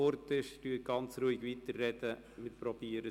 Sprechen Sie ganz ruhig weiter, auch wenn mal der Ton weg ist.